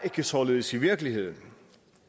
således i virkeligheden